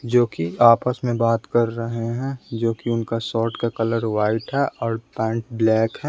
जो कि आपस में बात कर रहे हैं जो कि उनका शॉर्ट का कलर वाइट है और पैंट ब्लैक है।